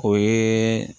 O ye